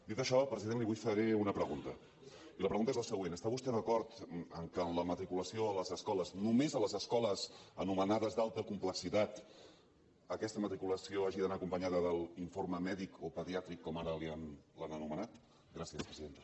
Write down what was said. dit això president li vull fer una pregunta i la pregunta és la següent està vostè d’acord que en la matriculació a les escoles només a les escoles anomenades d’alta complexitat aquesta matriculació hagi d’anar acompanyada de l’informe mèdic o pediàtric com ara l’han anomenat gràcies presidenta